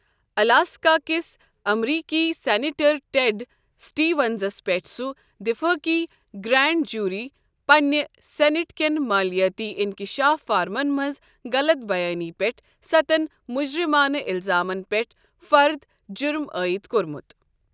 الاسکاكِس امریكی senator Ted سٹیونزَس پٮ۪ٹھ سہ وفٲقی گرینڈ جیوری پنِنہِ سینیٹ کین مٲلیٲتی انکشاف فارمَن منٛز غلط بیانی پٮ۪ٹھ سَتن مُجرمانہٕ الزامن پٮ۪ٹھ فرد جرم عائد کوٚرمُت۔